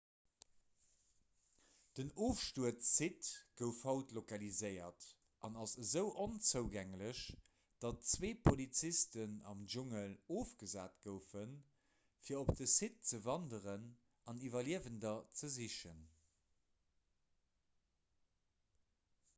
den ofstuerzsite gouf haut lokaliséiert an ass esou onzougänglech datt zwee polizisten am dschungel ofgesat goufen fir op de site ze wanderen an iwwerliewender ze sichen